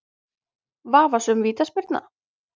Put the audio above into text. Vafasöm vítaspyrna?